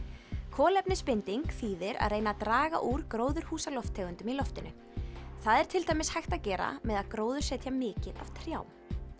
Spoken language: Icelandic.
kolefnisbinding þýðir að reyna að draga úr gróðurhúsalofttegundum í loftinu það er til dæmis hægt að gera með því að gróðursetja mikið af trjám